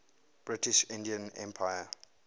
british indian empire